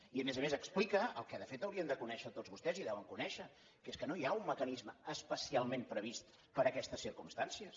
i a més a més explica el que de fet haurien de conèixer tots vostès i deuen conèixer que és que no hi ha un mecanisme especialment previst per a aquestes circumstàncies